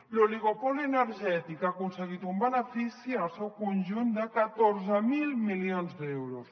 l’oligopoli energètic ha aconseguit un benefici en el seu conjunt de catorze mil milions d’euros